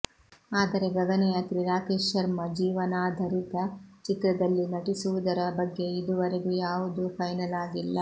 ಆದರೆ ಗಗನಯಾತ್ರಿ ರಾಕೇಶ್ ಶರ್ಮಾ ಜೀವನಾಧರಿತ ಚಿತ್ರದಲ್ಲಿ ನಟಿಸುವುದರ ಬಗ್ಗೆ ಇದುವರೆಗೂ ಯಾವುದೂ ಫೈನಲ್ ಆಗಿಲ್ಲ